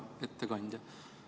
Hea ettekandja!